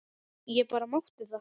Ég bara mátti það!